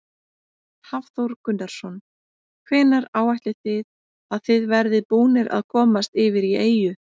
Hafþór Gunnarsson: Hvenær áætlið þið að þið verðið búnir að komast yfir í eyju?